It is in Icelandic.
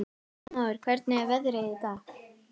Heilmóður, hvernig er veðrið í dag?